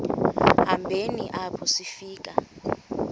hambeni apho sifika